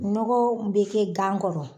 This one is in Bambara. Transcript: Nɔgɔw bɛ kɛ gan kɔrɔ,